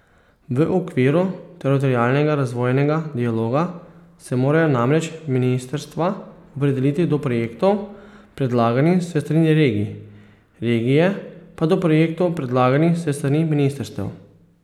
V okviru teritorialnega razvojnega dialoga se morajo namreč ministrstva opredeliti do projektov, predlaganih s strani regij, regije pa do projektov predlaganih s strani ministrstev.